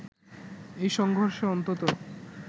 এই সংঘর্ষে অন্তত